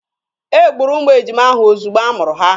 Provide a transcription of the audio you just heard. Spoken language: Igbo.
E gburu ụmụ ejima ahụ ozugbo a mụrụ ha.